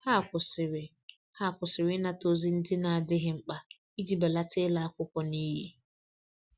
Ha kwụsịrị Ha kwụsịrị ịnata ozi ndị n'adighi mkpa iji belata ịla akwụkwọ n'iyi